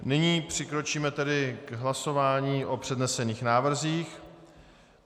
Nyní přikročíme tedy k hlasování o přednesených návrzích.